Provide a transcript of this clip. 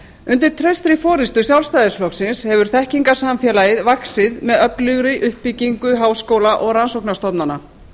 undir traustri forustu sjálfstæðisflokksins hefur þekkingarsamfélagið vaxið með öflugri uppbyggingu háskóla og rannsóknarstofnana